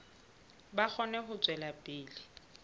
ba kgone ho tswela pele